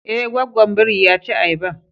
Ae, gwaggwan biri ya ci ayaban.